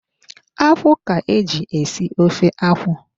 Akwụ ka-eji esi ofe akwụ.